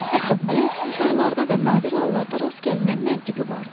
Hətta böyük insanlarda da nadir hallarda rast gəlinən məntiqi vardı.